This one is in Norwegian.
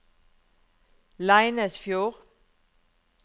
Leinesfjord